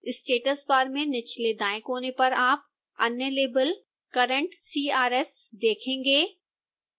status bar में निचलेदाएं कोने पर आप अन्य लेबल current crs देखेंगे